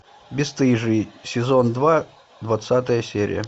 бесстыжие сезон два двадцатая серия